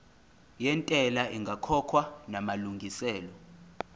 yentela ingakakhokhwa namalungiselo